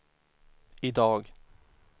idag